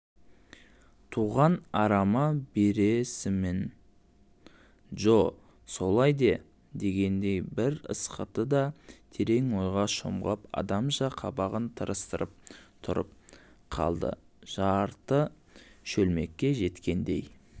туған апама бересімінджо солай де дегендей бір ысқырды да терең ойға шомған адамша қабағын тырыстырып тұрып қалдыжарты шөлмекке жеткендей